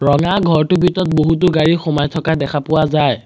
ৰঙা ঘৰটোৰ ভিতৰত বহুতো গাড়ী সুমাই থকা দেখা পোৱা যায়।